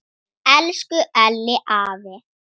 Elsku Elli afi.